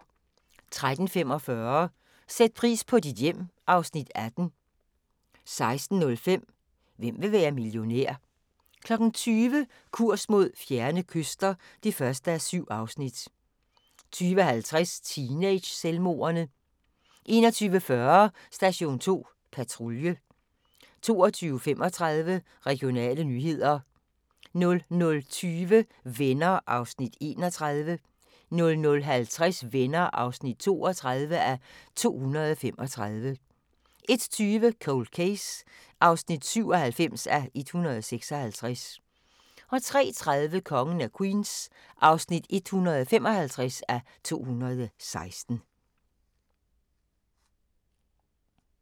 13:45: Sæt pris på dit hjem (Afs. 18) 16:05: Hvem vil være millionær? 20:00: Kurs mod fjerne kyster (1:7) 20:50: Teenage-selvmordene 21:40: Station 2 Patrulje 22:35: Regionale nyheder 00:20: Venner (31:235) 00:50: Venner (32:235) 01:20: Cold Case (97:156) 03:30: Kongen af Queens (155:216)